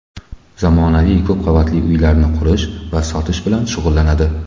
Zamonaviy ko‘p qavatli uylarni qurish va sotish bilan shug‘ullanadi!